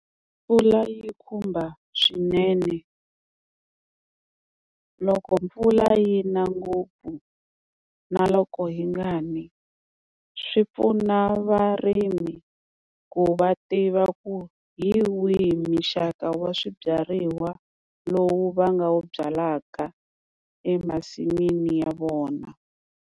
Mpfula yi khumba swinene, loko mpfula yi na ngopfu na loko yi nga ni swi pfuna varimi ku va tiva ku hi wihi muxaka wa swibyariwa lowu va nga wu byalaka emasin'wini ya vona.